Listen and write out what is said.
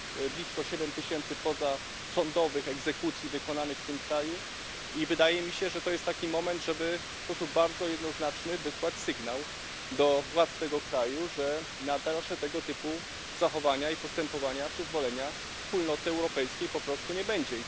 Blisko siedem tysięcy pozasądowych egzekucji wykonano w tym kraju. I wydaje mi się, że to jest taki moment, żeby w sposób bardzo jednoznaczny wysłać sygnał do władz tego kraju, że na dalsze tego typu zachowania i postępowania przyzwolenia Wspólnoty Europejskiej po prostu nie będzie.